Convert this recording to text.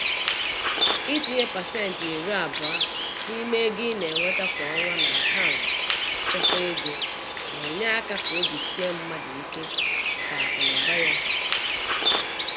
Itinye pasentị iri abụọ n'ime ego ị na-enweta kwa ọnwa n'akant nchekwa ego na-enye áká ka obi sie mmadụ ike màkà akụ na ụba ya n'ọdịnihu.